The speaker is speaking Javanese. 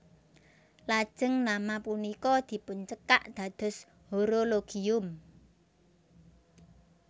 Lajeng nama punika dipuncekak dados Horologium